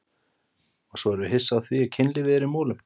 Og svo erum við hissa á því ef kynlífið er í molum!